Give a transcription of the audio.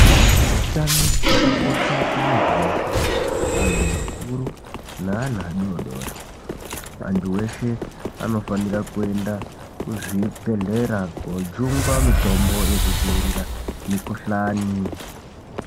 Utano hwakakosha kumuntu weshe antu akuru neana adodori. Vantu veshe anofanira kuenda kuzvibhedhlera kojungwa mitombo yekudzivirira mikhuhlane.